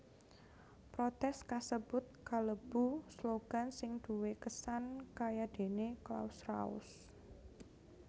Protès kasebut kalebu slogan sing duwé kesan kayadéné Claus raus